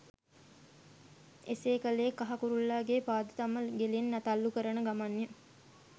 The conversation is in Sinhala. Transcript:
එසේ කළේ කහ කුරුල්ලාගේ පාද තම ගෙලෙන් තල්ලු කරන ගමන් ය.